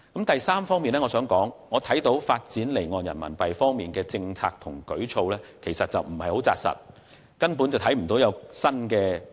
第三，我認為發展離岸人民幣方面的政策和舉措有欠扎實，亦未見有任何新的舉措。